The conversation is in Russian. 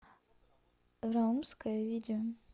раумская видео